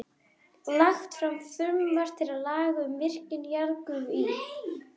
Lagt fram frumvarp til laga um virkjun jarðgufu í